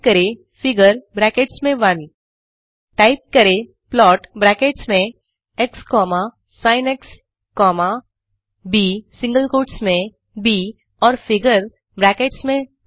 type करें figure brackets में 1 type करें प्लॉट ब्रैकेट्स में x sin comma b single quotes में ब और फिगर ब्रैकेट्स में 2